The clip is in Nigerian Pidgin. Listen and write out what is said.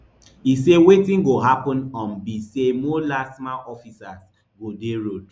e say wetin go happun um be say more lastma officers go dey road